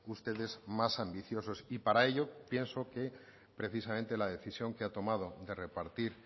ustedes más ambiciosos y para ello pienso que precisamente la decisión que ha tomado de repartir